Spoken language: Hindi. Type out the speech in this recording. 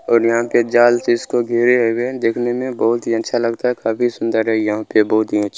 और यहां पे जाल से इसको घेरे हुए देखने में बहुत ही अच्छा लगता है काफी सुंदर है यहां पे बहुत ही अच्छा --